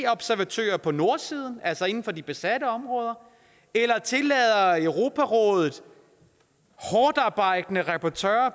observatører på nordsiden altså inden for de besatte områder eller tillader europarådets hårdtarbejdende rapportører